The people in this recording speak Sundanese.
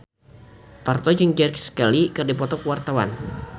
Parto jeung Grace Kelly keur dipoto ku wartawan